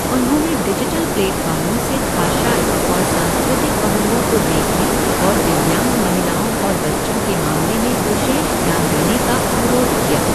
उन्होंने डिजिटल प्लेटफ़ार्मों से भाषाई और सांस्कृतिक पहलुओं को देखने और दिव्यांग महिलाओं और बच्चों के मामले में विशेष ध्यान देने का अनुरोध किया।